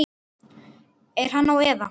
Er hann á eða?